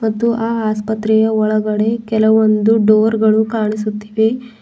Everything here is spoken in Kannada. ಅದು ಆ ಆಸ್ಪತ್ರೆಯ ಒಳಗಡೆ ಕೆಲವೊಂದು ಡೋರ್ ಗಳು ಕಾಣಿಸುತ್ತಿದೆ.